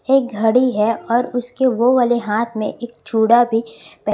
एक घड़ी है और उसके वे वाले हाथ में एक चूड़ा भी पहना--